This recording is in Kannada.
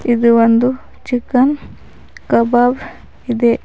ಇದು ಒಂದು ಚಿಕನ್ ಕಬಾಬ್ ಇದೆ.